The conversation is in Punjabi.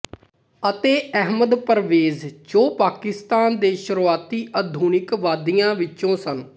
ਅਤੇ ਅਹਿਮਦ ਪਰਵੇਜ਼ ਜੋ ਪਾਕਿਸਤਾਨ ਦੇ ਸ਼ੁਰੂਆਤੀ ਆਧੁਨਿਕਵਾਦੀਆਂ ਵਿੱਚੋਂ ਸਨ